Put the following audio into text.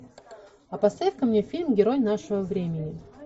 а поставь ка мне фильм герой нашего времени